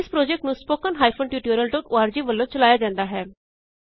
ਇਸ ਪ੍ਰੋਜੈਕਟ ਨੂੰ httpspoken tutorialorg ਵੱਲੋਂ ਚਲਾਇਆ ਜਾਂਦਾ ਹੈ